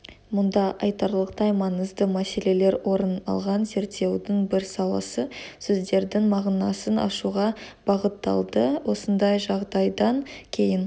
мұнда айтарлықтай маңызды мәселелер орын алған зерттеудің бір саласы сөздердің мағынасын ашуға бағытталды осындай жағдайдан кейін